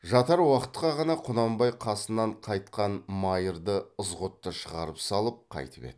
жатар уақытқа ғана құнанбай қасынан қайтқан майырды ызғұтты шығарып салып қайтып еді